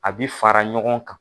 A bɛ fara ɲɔgɔn kan.